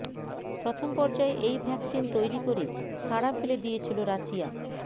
প্রথম পর্যায়ে এই ভ্যাকসিন তৈরি করে সাড়া ফেলে দিয়েছিল রাশিয়া